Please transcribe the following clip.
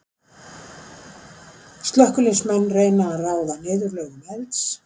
Slökkviliðsmenn reyna að ráða niðurlögum elds.